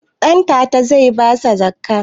Ɗantata zai basa zakkah?